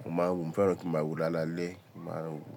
mo máa ń wò, mo fẹ́ràn kí mo máa wo lálalẹ́, mo máa ń wò.